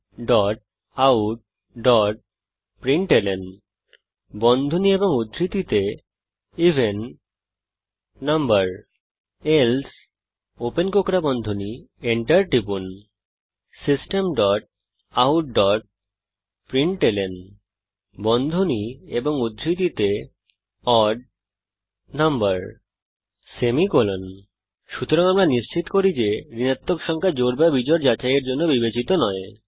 Systemoutprintlnএভেন number else enter টিপুন লিখুন Systemoutprintlnওড নাম্বার সুতরাং আমরা নিশ্চিত করি যে ঋণাত্মক সংখ্যা জোড় বা বিজোড় যাচাইয়ের জন্য বিবেচিত নয়